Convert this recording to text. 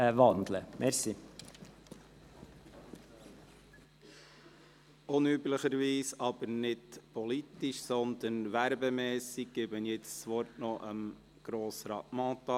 Unüblicherweise, aber nicht politisch, sondern werbemässig gebe ich jetzt das Wort noch Grossrat Mentha,